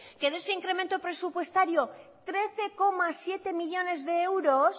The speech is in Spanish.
que de ese incremento presupuestario trece coma siete millónes de euros